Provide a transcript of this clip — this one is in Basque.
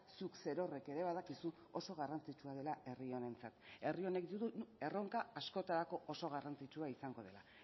zuk zerorrek ere badakizu oso garrantzitsua dela herri honentzat herri honek erronka askotarako oso garrantzitsua izango dela